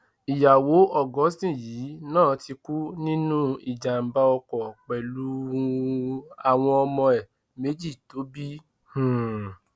ìyàwó augustine yìí náà ti kú nínú ìjàmbá ọkọ pẹlú um àwọn ọmọ ẹ méjì tó bí um